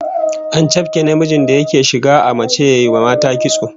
An chafke namijin da yake shiga a mace ya wa mata kitso